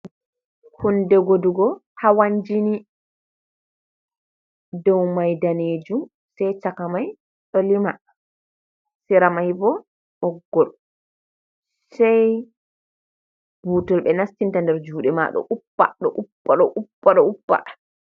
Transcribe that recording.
Hunde godugo hawan jini, dow mai danejum sei chaka mai ɗo lima, sera mai bo ɓoggol sei butol ɓe nastinta nder jude ma ɗo uppa, ɗo uppa ɗo uppa.